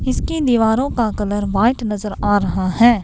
इसकी दीवारों का कलर वाइट नजर आ रहा है।